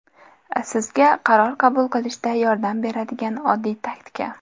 Sizga qaror qabul qilishda yordam beradigan oddiy taktika.